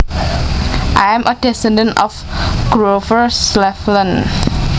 I am a descendant of Grover Cleveland